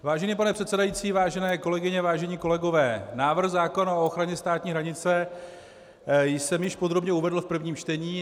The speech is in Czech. Vážený pane předsedající, vážené kolegyně, vážení kolegové, návrh zákona o ochraně státní hranice jsem již podrobně uvedl v prvním čtení.